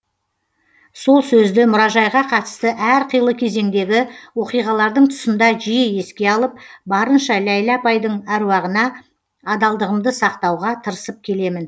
сол сөзді мұражайға қатысты әр қилы кезеңдегі оқиғалардың тұсында жиі еске алып барынша ләйлә апайдың әруағына адалдығымды сақтауға тырысып келемін